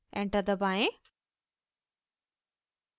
enter दबाएं